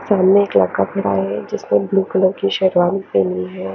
क्या कपडा हैं जिसमे ब्लू कलर की शेरवानी पहनी हैं।